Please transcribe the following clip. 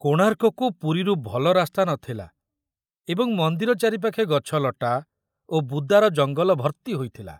କୋଣାର୍କକୁ ପୁରୀରୁ ଭଲ ରାସ୍ତା ନ ଥିଲା ଏବଂ ମନ୍ଦିର ଚାରିପାଖେ ଗଛଲଟା ଓ ବୁଦାର ଜଙ୍ଗଲ ଭର୍ତ୍ତି ହୋଇଥିଲା।